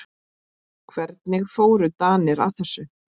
Hvernig fóru Danir að þessu?